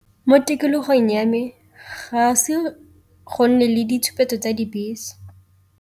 Mo tikologong ya me ga se go nne le ditshupetso tsa dibese.